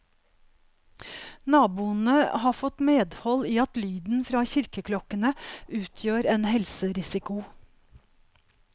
Naboene har fått medhold i at lyden fra kirkeklokkene utgjør en helserisiko.